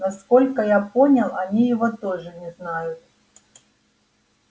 насколько я понял они его тоже не знают